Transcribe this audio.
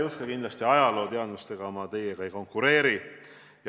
Härra Juske, ajalooteadmistes ma teiega kindlasti ei konkureeri.